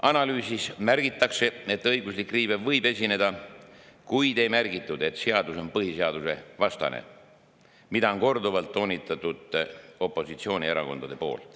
Analüüsis märgitakse, et õiguslik riive võib esineda, kuid ei märgitud seda, et seadus on põhiseaduse vastane, mida opositsioonierakonnad on korduvalt toonitanud.